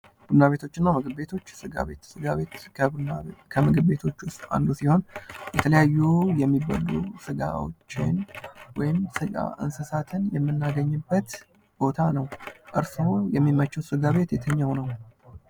ቡና ቤቶችና ምግብ ቤቶች ስጋ ቤት ስጋ ቤት ከምግብ ቤቶች ውስጥ አንዱ ሲሆን የሚበሉ ስጋዎችን እንስሳትን የምናገኝበት ቦታ ነው። እርስዎ የሚመችዎት ስጋ ቤት የትኛው ነው?